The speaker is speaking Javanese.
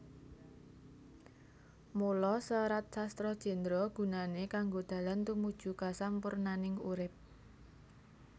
Mula Serat Sastra Jendra gunané kanggo dalan tumuju kasampurnaning urip